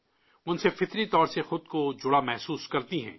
وہ ان سے قدرتی طور پر خود کو جڑا ہوا محسوس کرتی ہیں